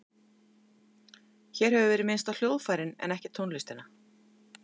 Hér hefur verið minnst á hljóðfærin en ekki tónlistina.